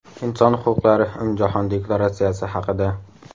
Inson huquqlari umumjahon deklaratsiyasi haqida.